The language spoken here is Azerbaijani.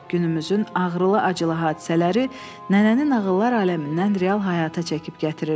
Günümüzün ağrılı-acılı hadisələri nənənin nağıllar aləmindən real həyata çəkib gətirirdi.